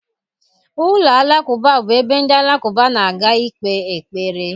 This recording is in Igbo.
Ụlọ alakụba bụ ebe ndị Alakụba na-aga ikpe ekpere